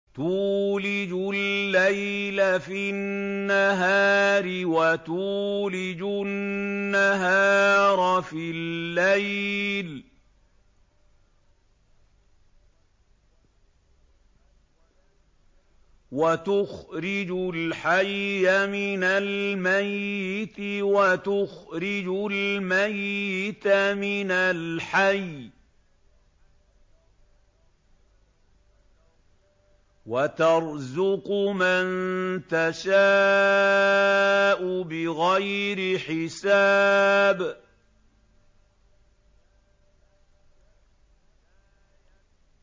تُولِجُ اللَّيْلَ فِي النَّهَارِ وَتُولِجُ النَّهَارَ فِي اللَّيْلِ ۖ وَتُخْرِجُ الْحَيَّ مِنَ الْمَيِّتِ وَتُخْرِجُ الْمَيِّتَ مِنَ الْحَيِّ ۖ وَتَرْزُقُ مَن تَشَاءُ بِغَيْرِ حِسَابٍ